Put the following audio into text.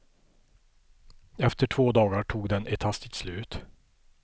Efter två dagar tog den ett hastigt slut.